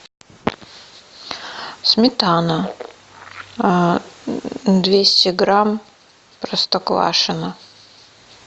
сметана двести грамм простоквашино